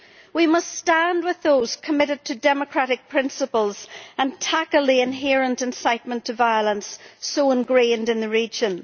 We must stand with those committed to democratic principles and tackle the inherent incitement to violence so engrained in the region.